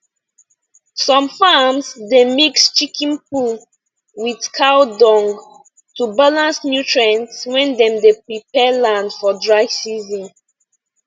some farms dey mix chicken poo with cow dung to balance nutrient when dem dey prepare land for dry season